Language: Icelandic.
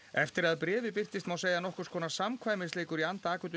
eftir að bréfið birtist má segja að nokkurs konar samkvæmisleikur í anda